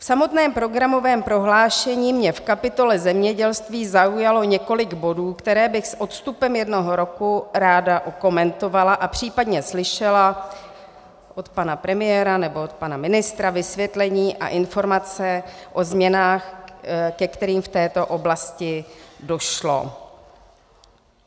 V samotném programovém prohlášení mě v kapitole zemědělství zaujalo několik bodů, které bych s odstupem jednoho roku ráda okomentovala, a případně slyšela od pana premiéra nebo od pana ministra vysvětlení a informace o změnách, ke kterým v této oblasti došlo.